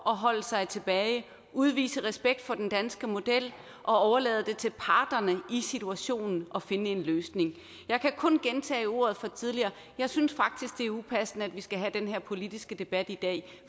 at holde sig tilbage udvise respekt for den danske model og overlade det til parterne i situationen at finde en løsning jeg kan kun gentage mine ord fra tidligere jeg synes faktisk det er upassende at vi skal have den her politiske debat i dag